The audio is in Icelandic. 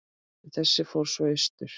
En þessi fór svo austur.